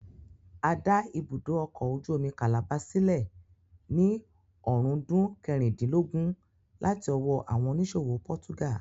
A dá ibùdó ọkọ̀ ojú omi calabar sílẹ̀ ní ọ̀rúndún kẹrìndínlógún láti ọwọ́ àwọn oníṣòwò pọ́túgà